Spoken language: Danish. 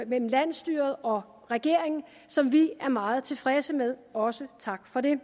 mellem landsstyret og regeringen som vi er meget tilfredse med og også tak for det